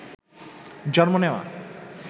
জন্ম নেওয়া